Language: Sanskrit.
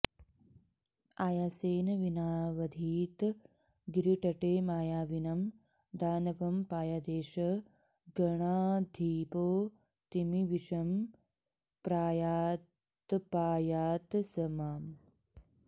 आयासेन विनावधीद् गिरितटे मायाविनं दानवं पायादेष गणाधिपोऽतिविषमप्रायादपायात् स माम्